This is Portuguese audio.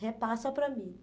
Repassa para mim.